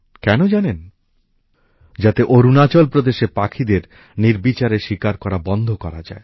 কেন জানেন যাতে অরুণাচল প্রদেশের পাখিদের নির্বিচারে শিকার করা বন্ধ করা যায়